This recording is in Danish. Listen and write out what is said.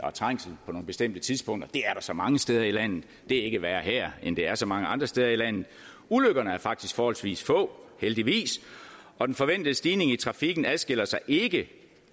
er trængsel på nogle bestemte tidspunkter det er der så mange steder i landet det er ikke værre her end det er så mange andre steder i landet ulykkerne er faktisk forholdsvis få heldigvis og den forventede stigning i trafikken adskiller sig ikke